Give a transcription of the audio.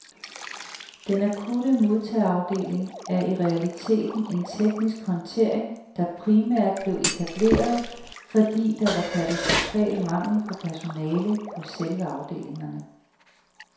Den akutte modtageafdeling er i realiteten en teknisk håndtering, der primært blev etableret, fordi der var katastrofal mangel på personale på selve afdelingerne.